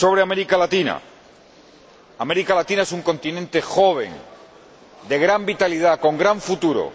Sobre América Latina. América Latina es un continente joven, de gran vitalidad, con gran futuro.